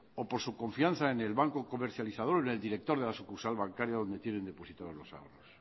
o por su confianza en el banco comercializador en el director de la sucursal bancaria donde tienen depositado los ahorros